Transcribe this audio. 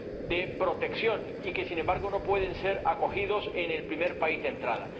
de protección y que, sin embargo, no pueden ser acogidas en el primer país de entrada.